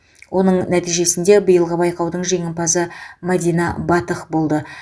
оның нәтижесінде биылғы байқаудың жеңімпазы мәдина батық болды